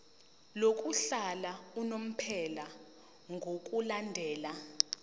lokuhlala unomphela ngokulandela